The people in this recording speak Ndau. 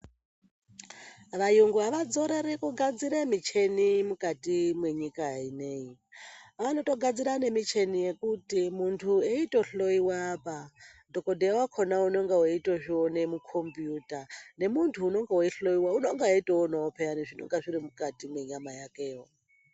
Vayungu havadzorori kugadzire micheni mwukati mwenyika ineyi. Vanotogadzira nemicheni yekuti muntu eitohloyiwa apa, dhogodheya wakona unenga eitozviona mukombiyuta. Nemuntu unenga weihloyiwa unenga eitoonawo phiyani zvinenga zviri mwukati mwenyama yakeyo.